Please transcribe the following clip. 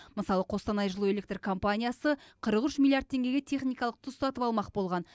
мысалы қостанай жылу электр компаниясы қырық үш миллиард теңгеге техникалық тұз сатып алмақ болған